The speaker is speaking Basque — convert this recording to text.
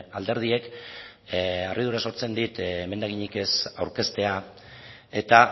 alderdiek harridura sortzen dit emendakinik ez aurkeztea eta